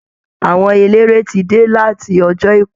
Àwọn eléré ti dé láti ọjọ́ àìkú